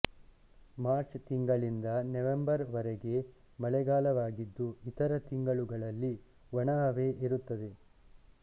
March ತಿಂಗಳಿಂದ November ವರೆಗೆ ಮಳೆಗಾಲವಾಗಿದ್ದು ಇತರ ತಿಂಗಳುಗಳಲ್ಲಿ ಒಣಹವೆ ಇರುತ್ತದೆ